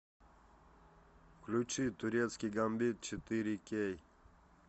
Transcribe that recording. включи турецкий гамбит четыре кей